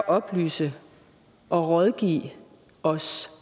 oplyse og rådgive os